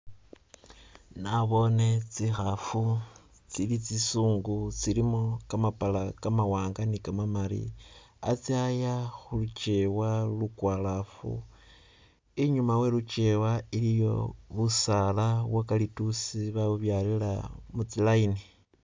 Naboone tsi'haafu tsili tsi'sungu tsilimo kamapala kamawaanga ni kamamali khatsaya khulekewa lukwalafu, i'nyuma we'lukewa iliiyo busaala bwa kalituusi babubyalila mutsi layini